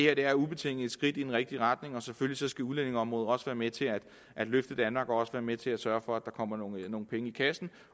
er ubetinget et skridt i den rigtige retning og selvfølgelig skal udlændingeområdet også være med til at løfte danmark og også være med til at sørge for at der kommer nogle penge i kassen